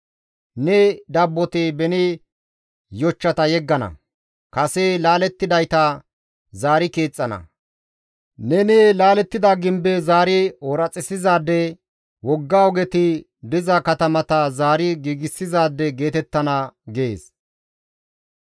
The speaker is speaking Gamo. Ne dabboti beni yochchata yeggana; kase laalettidayta zaari keexxana; neni laalettida gimbe zaari ooraxissizaade, wogga ogeti diza katamata zaari giigsizaade geetettana» gees.